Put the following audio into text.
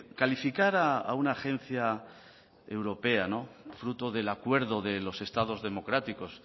calificar a una agencia europea fruto del acuerdo de los estados democráticos